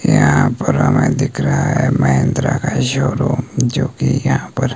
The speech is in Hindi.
यहां पर हमें दिख रहा है महिंद्रा का शोरूम जो की यहां पर--